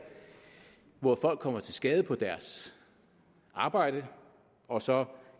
hvor folk kommer til skade på deres arbejde og så